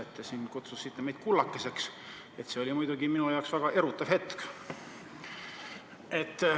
Et te siin kutsusite meid kullakesteks, see oli muidugi minu jaoks väga erutav hetk.